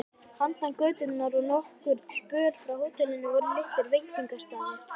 Handan götunnar og nokkurn spöl frá hótelinu voru litlir veitingastaðir.